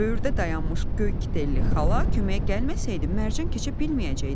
Böyürdə dayanmış göy kitelli xala köməyə gəlməsəydi, Mərcan keçə bilməyəcəkdi.